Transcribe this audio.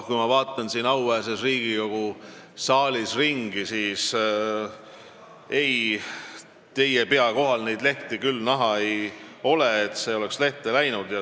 Kui ma vaatan siin auväärses Riigikogu saalis ringi, siis ei, teie pea kohal neid lehti küll näha ei ole, see ei ole lehte läinud.